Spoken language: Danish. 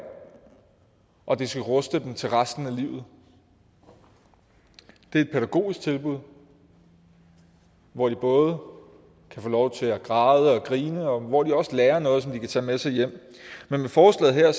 og det skal ruste dem til resten af livet det er et pædagogisk tilbud hvor de både kan få lov til at græde og grine og hvor de også lærer noget som de kan tage med sig hjem men med forslaget her